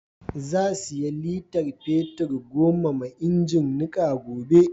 Za siya litar fetir goma ma ingin niƙa gobe.